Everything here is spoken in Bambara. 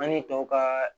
An ni tɔw ka